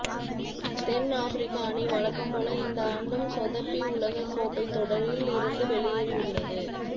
தென் Africa அணி வழக்கம்போல இந்த ஆண்டும் சொதப்பி உலகக்கோப்பை தொடரில் இருந்து வெளியேறியுள்ளது